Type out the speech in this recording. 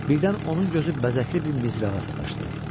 Birdən onun gözü bəzəkli bir mizrağa sataşdı.